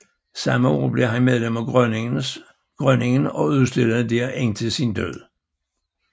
Samme år blev han medlem af Grønningen og udstillede dér indtil sin død